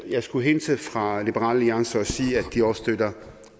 jeg skulle hilse fra liberal alliance og sige at de også støtter